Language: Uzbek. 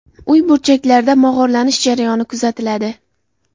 Uy burchaklarida mog‘orlanish jarayoni kuzatiladi.